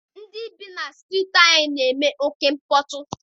Ndị bi na Striiti anyị na-eme oké mkpọtụ.